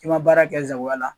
I ma baara kɛ n sagoya la